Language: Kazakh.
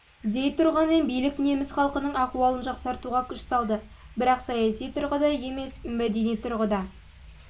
дей тұрғанмен билік неміс халқының ахуалын жақсартуға күш салды бірақ саяси тұрғыда емес мәдени тұрғыда ол